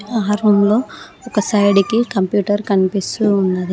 ఆ రూమ్ లో ఒక సైడ్ కి కంప్యూటర్ కనిపిస్తూ ఉన్నది.